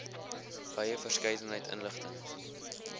wye verskeidenheid inligting